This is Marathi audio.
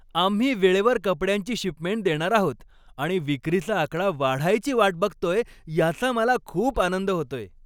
आम्ही वेळेवर कपड्यांची शिपमेंट देणार आहोत आणि विक्रीचा आकडा वाढायची वाट बघतोय याचा मला खूप आनंद होतोय.